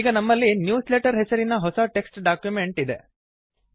ಈಗ ನಮ್ಮಲ್ಲಿ ನ್ಯೂಸ್ಲೆಟರ್ ಹೆಸರಿನ ಹೊಸ ಟೆಕ್ಸ್ಟ್ ಡಾಕ್ಯುಮೆಂಟ್ ಇದೆ